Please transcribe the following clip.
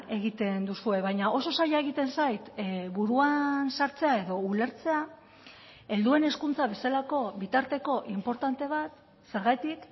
egiten duzue baina oso zaila egiten zait buruan sartzea edo ulertzea helduen hezkuntza bezalako bitarteko inportante bat zergatik